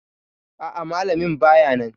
A'a, Malamin bayanan